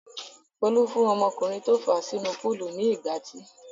Folú fún ọmọkùnrin tó fà á sínú púúlù ní ìgbátí.